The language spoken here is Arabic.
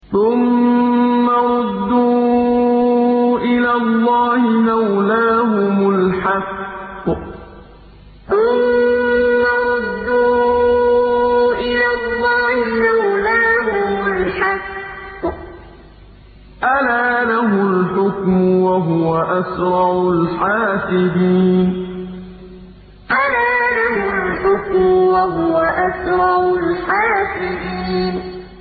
ثُمَّ رُدُّوا إِلَى اللَّهِ مَوْلَاهُمُ الْحَقِّ ۚ أَلَا لَهُ الْحُكْمُ وَهُوَ أَسْرَعُ الْحَاسِبِينَ ثُمَّ رُدُّوا إِلَى اللَّهِ مَوْلَاهُمُ الْحَقِّ ۚ أَلَا لَهُ الْحُكْمُ وَهُوَ أَسْرَعُ الْحَاسِبِينَ